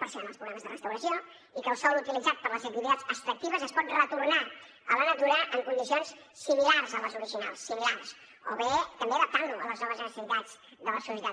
per això hi han els programes de restauració i que el sòl utilitzat per a les activitats extractives es pot retornar a la natura en condicions similars a les originals similars o bé també adaptant lo a les noves necessitats de la societat